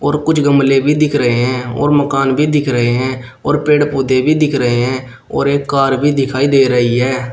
और कुछ गमले भी दिख रहे हैं और मकान भी दिख रहे हैं और पेड़ पौधे भी दिख रहे हैं और एक कार भी दिखाई दे रही है।